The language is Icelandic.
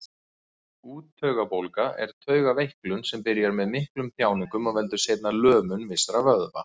Úttaugabólga er taugaveiklun sem byrjar með miklum þjáningum og veldur seinna lömun vissra vöðva.